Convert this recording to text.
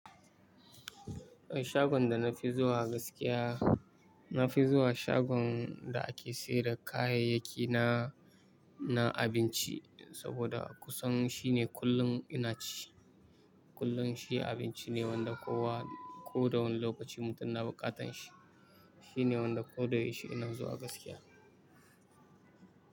Eh shagon da na fi zuwa gaskiya, na fi zuwa shagon da ake sayar da kayayyaki na na abinci saboda a kusan shine kullum ina ci. Kullum shi abinci ne wanda kowa ko da wane lokaci mutum na buƙatan shi. Shi ne wanda ko da ya yi shi ina zuwa gaskiya.